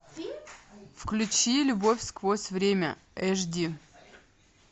включи любовь сквозь время эш ди